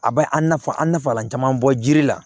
A bɛ an nafa an nafa la caman bɔ jiri la